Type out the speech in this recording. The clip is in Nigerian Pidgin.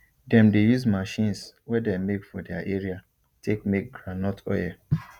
dem dey use machines wey de make for their area take make groundnut oil